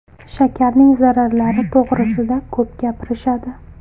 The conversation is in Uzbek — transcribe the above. Shakarning zararlari to‘g‘risida ko‘p gapirishadi.